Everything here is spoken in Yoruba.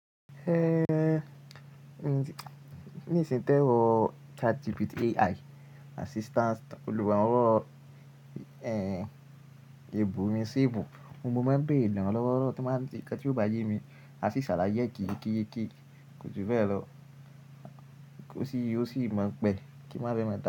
Ehn, ní ìsìn tẹ wọ ChatGPT AI assistance, olùwà wọ ehn, ebu mi sí ebu. Ohun mo máa ń béèrè iràn lọ́wọ́ tí máa ń ṣe ń ṣe ǹkan tí ò bá yé mi, a sì ṣàlàyé kííkííkí. Kò ju bẹ lọ, kò sì, ó sì mọ̀ pé kí má fẹ́ máa dà.